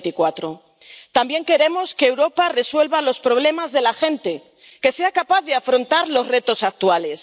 2024. También queremos que Europa resuelva los problemas de la gente, que sea capaz de afrontar los retos actuales.